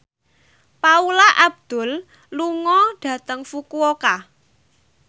Paula Abdul lunga dhateng Fukuoka